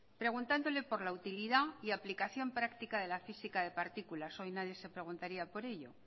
preguntándole por la utilidad y aplicación práctica de la física de partículas hoy nadie se preguntaría por ello